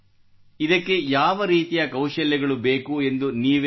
ಇದಕ್ಕೆ ಯಾವ ರೀತಿಯ ಕೌಶಲ್ಯಗಳು ಬೇಕು ಎಂದು ನೀವೇ ಹೇಳಿ